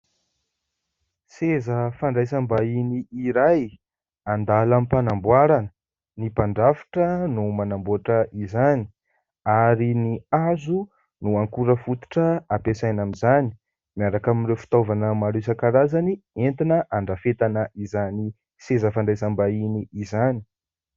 Seza fandraisam-bahiny iray an-dalam-panamboarana. Ny mpandrafitra no manamboatra izany ary ny hazo no akora fototra ampiasaina amin'izany, miaraka amin'ireo fitaovana maro isan-karazany entina andrafetana izany seza fandraisam-bahiny izany.